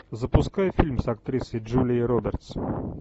запускай фильм с актрисой джулией робертс